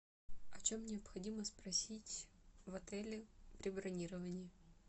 о чем необходимо спросить в отеле при бронировании